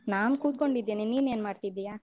ನಾನ್ ಕೂತ್ಕೊಂಡಿದ್ದೇನೆ. ನೀನ್ ಏನ್ ಮಾಡ್ತಿದ್ದೀಯಾ?